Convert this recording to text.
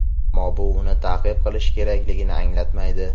ammo bu uni ta’qib qilish kerakligini anglatmaydi.